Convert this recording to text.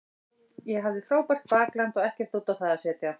Ég hafði frábært bakland og ekkert út á það að setja.